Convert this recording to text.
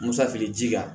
Musafiri ji kan